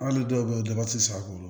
Hali dɔw bɛ yen daba ti se a bolo